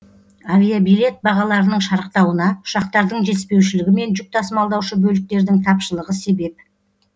авиабилет бағаларының шарықтауына ұшақтардың жетіспеушілігі мен жүк тасымалдаушы бөліктердің тапшылығы себеп